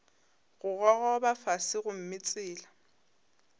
go gogoba fase gomme tsela